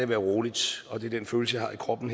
være roligt og det er den følelse jeg har i kroppen